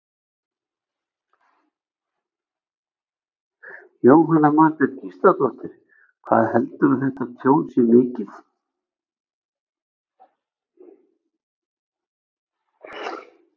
Jóhanna Margrét Gísladóttir: Hvað heldurðu að þetta tjón sé mikið?